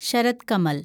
Sarath Kamal